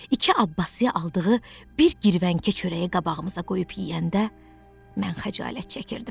İki Abbası aldığı bir girvənkə çörəyi qabağımıza qoyub yeyəndə, mən xəcalət çəkirdim.